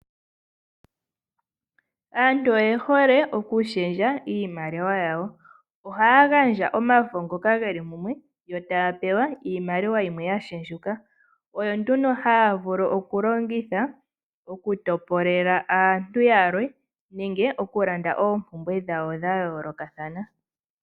Aantu oye hole okushendja iimaliwa yawo ohaya gandja omafo ngoka ge li mumwe yo taya pewa iimaliwa yimwe ya shendjuka oyo nduno haya vulu okulongitha okutopolela aantu yalwe nenge okulanda oompumbwe dhawo dha yoolokathana.